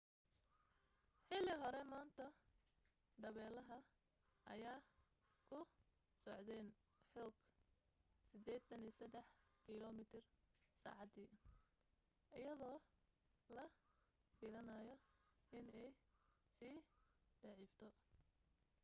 xili hore maanta dabeelaha ayaa ku socdeen xoog 83 kilomiitar saacadii iyadoo la filanaayo inay sii daciifto